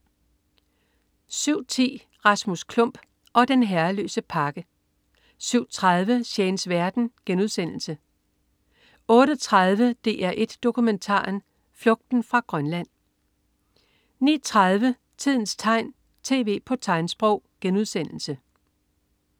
07.10 Rasmus Klump og den herreløse pakke 07.30 Shanes verden* 08.30 DR1 Dokumentaren. Flugten fra Grønland 09.30 Tidens tegn. TV på tegnsprog*